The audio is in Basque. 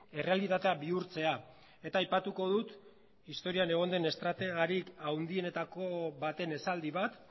errealitatea bihurtzea eta aipatuko dut historian egon den estrategarik handienetako baten esaldi bat